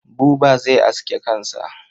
Buba zai aske kansa.